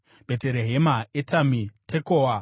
Bheterehema, Etami, Tekoa,